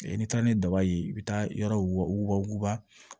N'i taara ni daba ye i bɛ taa yɔrɔ wuguba wuguba